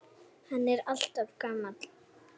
En hann er alltaf gamall.